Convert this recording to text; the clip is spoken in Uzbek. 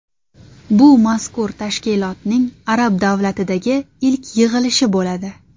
Bu mazkur tashkilotning arab davlatidagi ilk yig‘ilishi bo‘ladi.